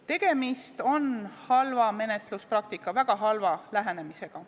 Tegemist on halva menetluspraktikaga, väga halva lähenemisega.